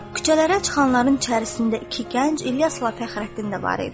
Küçələrə çıxanların içərisində iki gənc İlyasla Fəxrəddin də var idi.